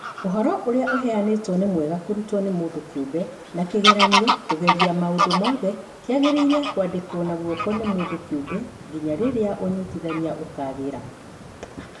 ũhoro ũrĩa ũheyanĩtwo nĩ mwega kũrutwo nĩ mũndũ kĩũmbe, na kĩgeranio (kũgeria maũndũ mothe) kĩagĩrĩire kwandĩkwo na guoko mũndũ kĩũmbe nginya rĩrĩa ũnyitithania ũkagĩra.